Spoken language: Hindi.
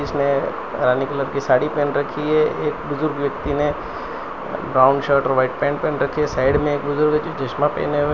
इसमें रानी कलर की साड़ी पहेन रखी है एक बुजुर्ग व्यक्ति ने ब्राउन शर्ट और वाइट पैन्ट पहेन रखी साइड में एक बुजुर्ग जो चश्मा पहेने हुए हैं।